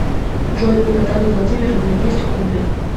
джой у натальи владимировны есть хобби